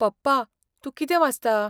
पप्पा, तूं कितें वाचता?